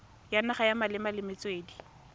ya naga malebana le metswedi